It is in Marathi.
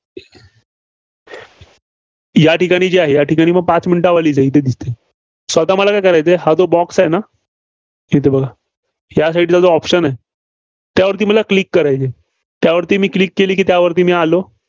या ठिकाणी जे आहे, या ठिकाणी मग पाच minute वाली जाईल. इथं दिसतंय. so आता मला काय करायचं आहे, हा जो box आहे ना, इथं बघा, या Side ला option आहे, त्यावरती मला Click करायचं आहे. त्यावरती मी Click केली की त्यावरती मी आलो.